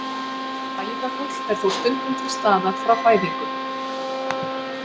Æðagúll er þó stundum til staðar frá fæðingu.